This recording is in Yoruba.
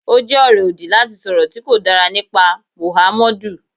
Ó jẹ́ ọ̀rọ̀ òdì láti sọ̀rọ̀ tí kò dára nípa Mọ̀hámọ́dù.